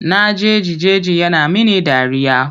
Na jeji jeji yana mini dariya.